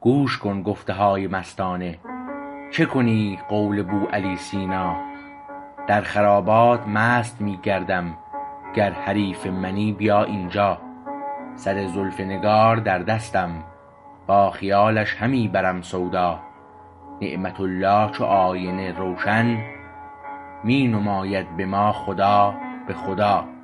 گوش کن گفته های مستانه چه کنی قول بو علی سینا در خرابات مست می گردم گر حریف منی بیا اینجا سر زلف نگار در دستم با خیالش همی برم سودا نعمت الله چو آینه روشن می نماید به ما خدا به خدا